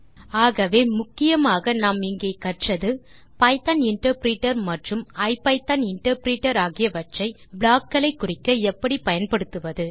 ஆகவே முக்கியமாக நாம் இங்கே கற்றது பைத்தோன் இன்டர்பிரிட்டர் மற்றும் தே ஐபிதான் இன்டர்பிரிட்டர் ஆகியவற்றை ப்ளாக் களை குறிக்க எப்படி பயன்படுத்துவது